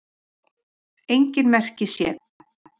Engin merki séu um leka